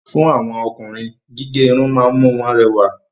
Fún àwọn Ọkùnrin, gígé Irun ma ń mú wọn rẹwà